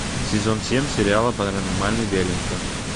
сезон семь сериала паранормальный веллингтон